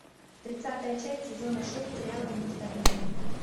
тридцатая часть сезона шесть сериала девяносто один день